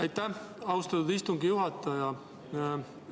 Aitäh, austatud istungi juhataja!